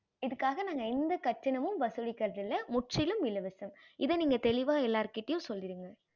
இதுக்காக நாங்க எந்த கட்டணமும் வசுளிகறது இல்ல முற்றிலும் இலவசம் இத நீங்க தெளிவா எல்லார்கிட்டையும் சொல்லிடுங்க